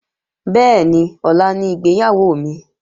Bẹ́ẹ̀ni, ọ̀la ni ìgbéyàwó mi